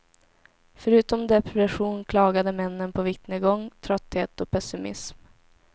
Förutom depression klagade männen på viktnedgång, trötthet och pessimism.